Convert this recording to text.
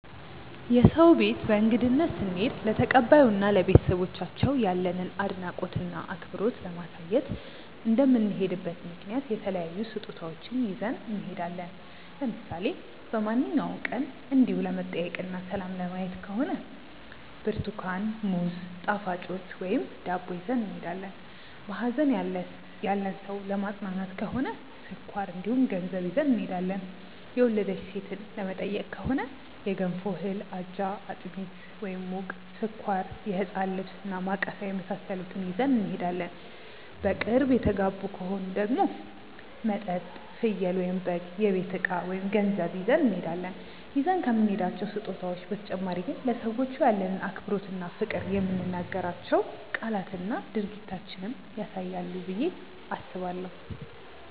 የሰው ቤት በእንግድነት ስንሄድ ለተቀባዩ እና ለቤተሰቦቻቸው ያለንን አድናቆት እና አክብሮት ለማሳየት እንደምንሄድበት ምክንያት የተለያዩ ስጦታዎችን ይዘን እንሄዳለን። ለምሳሌ በማንኛውም ቀን እንዲው ለመጠያየቅ እና ሰላም ለማየት ከሆነ ብርትኳን፣ ሙዝ፣ ጣፋጮች ወይም ዳቦ ይዘን እንሄዳለን። በሀዘን ያለን ሰው ለማፅናናት ከሆነ ስኳር እንዲሁም ገንዘብ ይዘን እንሄዳለን። የወለደች ሴትን ለመጠየቅ ከሆነ የገንፎ እህል፣ አጃ፣ አጥሚት (ሙቅ)፣ስኳር፣ የህፃን ልብስ እና ማቀፊያ የመሳሰሉትን ይዘን እንሄዳለን። በቅርብ የተጋቡ ከሆኑ ደግሞ መጠጥ፣ ፍየል/በግ፣ የቤት እቃ ወይም ገንዘብ ይዘን እንሄዳለን። ይዘን ከምንሄዳቸው ስጦታዎች በተጨማሪ ግን ለሰዎቹ ያለንን አክብሮት እና ፍቅር የምንናገራቸው ቃላትና ድርጊታችንም ያሳያሉ ብዬ አስባለሁ።